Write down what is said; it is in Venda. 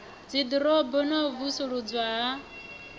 dziḓorobo na u vusuludzwa ha